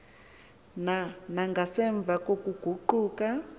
na nangasemva kokuguquka